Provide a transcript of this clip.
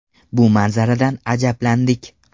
Bu manzaradan ajablandik.